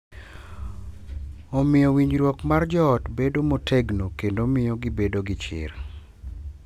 Omiyo winjruok mar joot bedo motegno kendo miyo gibedo gi chir.